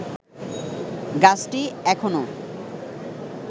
গাছটি এখনো